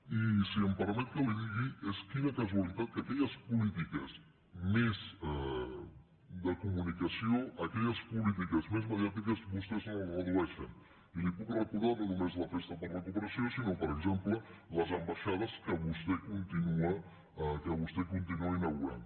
i si em permet que li ho digui quina casualitat que aquelles polítiques més de comunicació aquelles polítiques més mediàtiques vostès no les redueixin i li puc recordar no només la festa per la cooperació sinó per exemple les ambaixades que vostè continua inaugurant